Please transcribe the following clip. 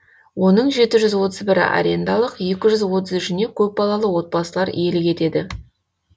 оның жеті жүз отыз біріне арендалық екі жүз отыз біріне көпбалалы отбасылар иелік етеді